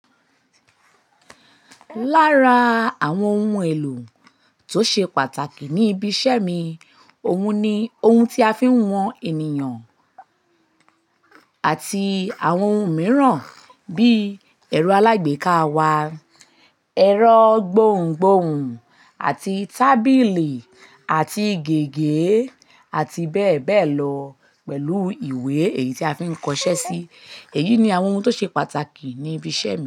Lára àwọn ohun èlò tó ṣe pàtàkì ní ibi iṣẹ́ mi, òun ni ohun tí a fi ń wọn ènìyàn àti àwọn ohun mìíràn bíi ẹ̀rọ alágbèéká wa, ẹ̀rọ gbohùngbohùn àti tábìlì àti gègé àti bẹ́ẹ̀ bẹ́ẹ̀ lọ pẹ̀lú ìwé èyí tí a fi ń kọṣẹ́ sí. Èyí ni àwọn ohun tó ṣe pàtàkì ní ibi iṣẹ́ mi.